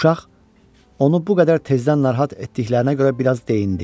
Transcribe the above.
Uşaq onu bu qədər tezdən narahat etdiklərinə görə biraz deyinirdi.